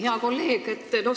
Hea kolleeg!